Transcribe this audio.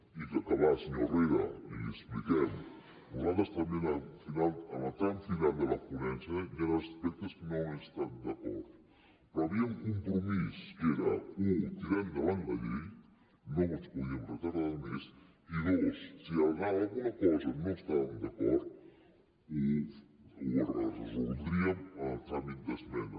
i per acabar senyor herrera i li ho expliquem nosaltres també en el tram final de la ponència hi han aspectes amb què no hem estat d’acord però hi havia compromís que era u tirar endavant la llei no ens podíem retardar més i dos si amb alguna cosa no estàvem d’acord ho resoldríem en el tràmit d’esmenes